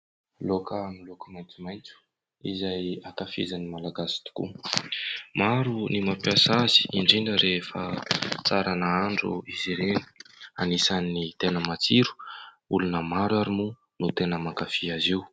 Laoka miloko maintsomaintso izay ankafizin'ny malagasy tokoa . Maro ny mampiasa azy indrindra rehefa tsara nahandro izy ireny ; anisany tena matsiro , olona maro ary moa no tena mankafy azy io.